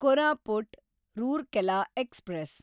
Koraput Rourkela express